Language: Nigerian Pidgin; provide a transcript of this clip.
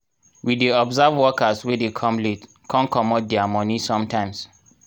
we dey observe workers wey dey come late con commot diir moni sometimes.